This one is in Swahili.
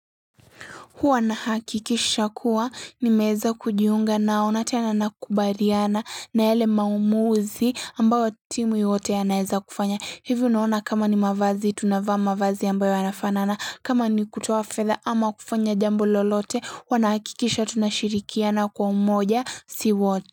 Huwa nahakikisha kuwa nimeeza kujiunga nao na tena nakubaliana na yale maumuzi ambayo timu yote yanaeza kufanya. Hivyo naona kama ni mavazi, tunavaa mavazi ambayo yanafanana, kama ni kutoa fedha ama kufanya jambo lolote, wanahakikisha tunashirikiana kwa umoja si wo.